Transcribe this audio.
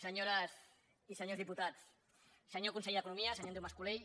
senyores i senyors diputats senyor conseller d’economia senyor andreu mas colell